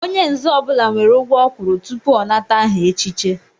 Onye nzé ọbula nwèrè ugwọ ọ kwụrụ tupu ọ nata aha echiche